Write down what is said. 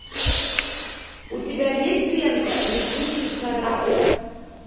у тебя есть лента летучий корабль